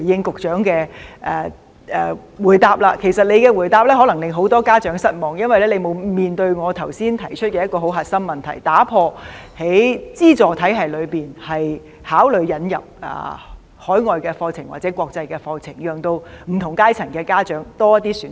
局長的回答可能令很多家長失望，因為他沒有回應我剛才提出的一個核心問題，即會否考慮在資助體系中引入海外課程或國際課程，讓不同階層的家長有多些選擇。